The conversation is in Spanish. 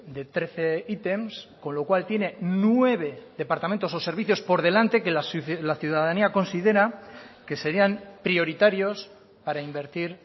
de trece ítems con lo cual tiene nueve departamentos o servicios por delante que la ciudadanía considera que serían prioritarios para invertir